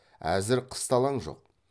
әзір қысталаң жоқ